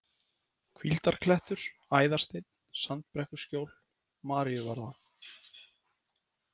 Hvíldarklettur, Æðarsteinn, Sandbrekkuskjól, Maríuvarða